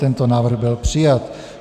Tento návrh byl přijat.